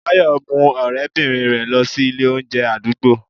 bayo mu orebirin rẹ losí Ilé oúnje adugbo